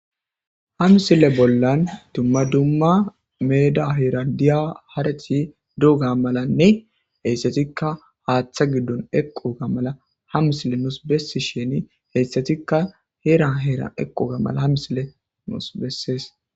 Hamsile bollan dumma dumma meeda hirandiya harati duuga malanne heyssatikka haaththa giddon eqo ga mala hamisile nuus bessi sheni heyssatikka heera heera equ ga mala hamisile nuus bessees.